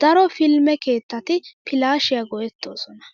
Daro filime keettati filaashiyaa go'ettoosona.